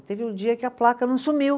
Teve um dia que a placa não sumiu.